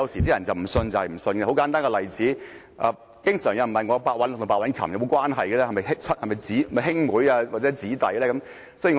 舉一個很簡單的例子，經常有人問我白韞六和白韻琴有沒有關係，是否兄妹或姊弟呢？